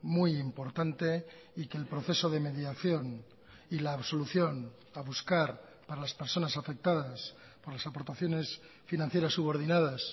muy importante y que el proceso de mediación y la absolución a buscar para las personas afectadas por las aportaciones financieras subordinadas